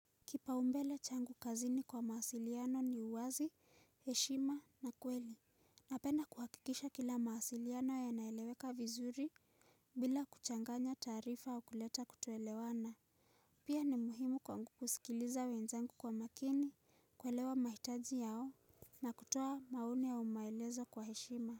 Kipaumbele changu kazini kwa mawasiliano ni uwazi, heshima na kweli, napenda kuhakikisha kila mawasiliano yanaeleweka vizuri bila kuchanganya taarifa au kuleta kutoelewana. Pia ni muhimu kwangu kusikiliza wenzangu kwa makini kuelewa mahitaji yao na kutoa maoni au maelezo kwa heshima.